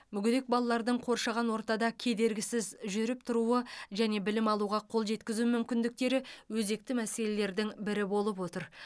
мүгедек балалардың қоршаған ортада кедергісіз жүріп тұруы және білім алуға қол жеткізу мүмкіндіктері өзекті мәселелердің бірі болып отыр